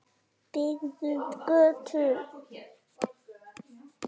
Byggðum götu.